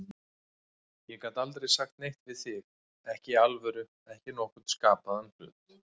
Ég gat aldrei sagt neitt við þig, ekki í alvöru, ekki nokkurn skapaðan hlut.